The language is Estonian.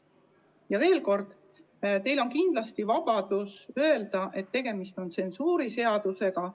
Ütlen veel kord, teil on vabadus öelda, et tegemist on tsensuuriseadusega.